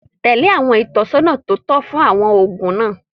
Tẹ̀lé àwọn ìtọ́sọ́nà tó tọ̀nà fún àwọn oògùn náà